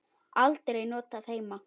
Aldrei notað heima.